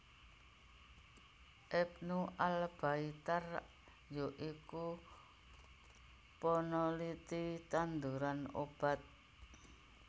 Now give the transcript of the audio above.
Ibnu Al Baitar ya iku peneliti tanduran obat